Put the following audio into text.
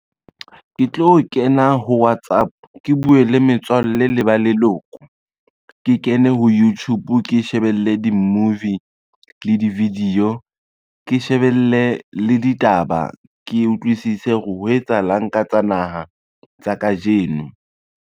Ke tlo kena ho WhatsApp, ke bue le metswalle le ba leloko. Ke kene ho Youtube ke shebelle di-movie le di-video, ke shebelle le ditaba ke utlwisise hore ho etsahalang ka tsa naha tsa kajeno.